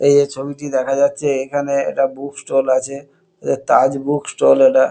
এইযে ছবিটি দেখা যাচ্ছে এখানে একটা বুক ষ্টল আছে এ তাজ বুক ষ্টল এটা।